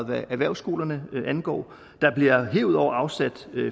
hvad erhvervsskolerne angår der bliver herudover afsat